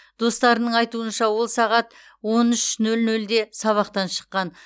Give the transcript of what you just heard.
достарының айтуынша ол сағат он үш нөл нөлде сабақтан шыққан